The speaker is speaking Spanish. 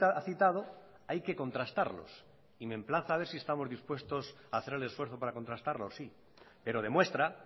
ha citado hay que contrastarlos y me emplaza a ver si estamos dispuestos a hacer el esfuerzo para contrastarlos sí pero demuestra